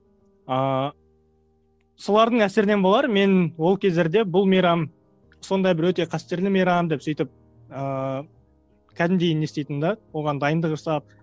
ааа солардың әсерінен болар мен ол кездерде бұл мейрам сондай бір өте қастерлі мейрам деп сөйтіп ыыы кәдімгідей не істейтінмін де оған дайындық жасап